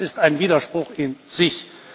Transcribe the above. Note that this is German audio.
Das ist ein Widerspruch in sich.